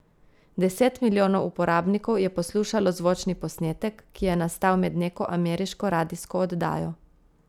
Deset milijonov uporabnikov je poslušalo zvočni posnetek, ki je nastal med neko ameriško radijsko oddajo.